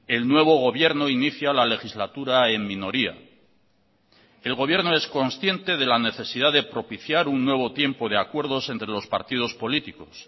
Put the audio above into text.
el nuevo gobierno inicia la legislatura en minoría el gobierno es consciente de la necesidad de propiciar un nuevo tiempo de acuerdos entre los partidos políticos